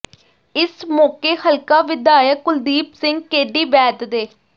ਇਸ ਮੌਕੇ ਹਲਕਾ ਵਿਧਾਇਕ ਕੁਲਦੀਪ ਸਿੰਘ ਕੇਡੀ ਵੈਦ ਦੇ